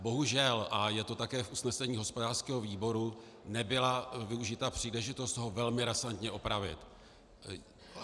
Bohužel, a je to také v usnesení hospodářského výboru, nebyla využita příležitost ho velmi razantně opravit.